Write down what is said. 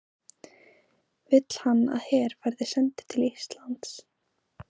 Vill hann að her verði sendur til Íslands?